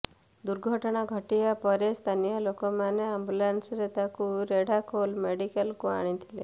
ଦୁର୍ଘଟଣା ଘଟିବା ପରେ ସ୍ଥାନୀୟ ଲୋକମାନେ ଆମ୍ବୁଲାନ୍ସରେ ତାଙ୍କୁ ରେଢାଖୋଲ ମେଡ଼ିକାଲକୁ ଆଣିଥିଲେ